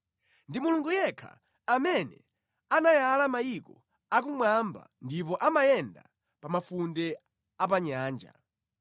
Ndi Mulungu yekha amene anayala mayiko akumwamba ndipo amayenda pa mafunde a pa nyanja.